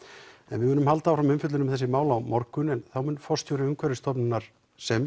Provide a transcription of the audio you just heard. við munum halda áfram umfjöllun um þessi mál á morgun en þá mun forstjóri Umhverfisstofnunar sem